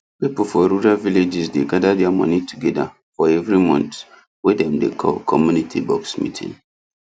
people for rural villages dey gather their money together for every month wey dem dey call community box meetings